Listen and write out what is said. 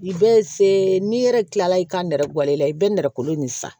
I bɛ se n'i yɛrɛ kila la i ka nɛrɛ wala i bɛ nɛrɛ kolon in san